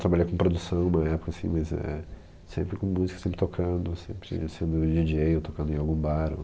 Trabalhei com produção uma época assim, mas é... Sempre com música, sempre tocando, sempre sendo DJ ou tocando em algum bar.